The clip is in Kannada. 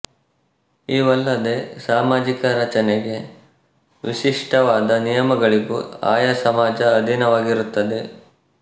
ಇವಲ್ಲದೆ ಸಾಮಾಜಿಕ ರಚನೆಗೆ ವಿಶಿಷ್ಟವಾದ ನಿಯಮಗಳಿಗೂ ಆಯಾ ಸಮಾಜ ಅಧೀನವಾಗಿರುತ್ತದೆ